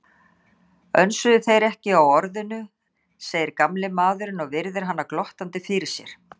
Önsuðu þeir ekki á Orðinu, segir gamli maðurinn og virðir hana glottandi fyrir sér.